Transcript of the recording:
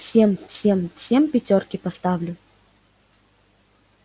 всем всем всем пятёрки поставлю